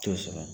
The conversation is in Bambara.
T'o sɔrɔ